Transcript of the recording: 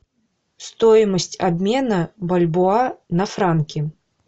стоимость обмена бальбоа на франки